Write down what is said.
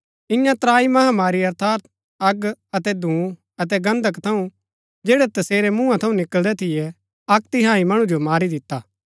इआं त्राई महामारी अर्थात अग अतै धूँ अतै गन्धक थऊँ जैड़ै तसेरै मूँहा थऊँ निकळदै थियै अक्क तिहाई मणु जो मारी दिता